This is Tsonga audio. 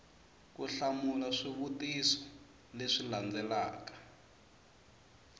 ku hlamula swivutiso leswi landzelaka